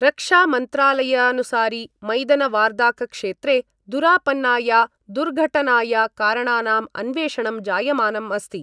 रक्षामन्त्रालयानुसारि मैदनवार्दाकक्षेत्रे दुरापन्नाया दुर्घटनाया कारणानाम् अन्वेषणं जायमानम् अस्ति।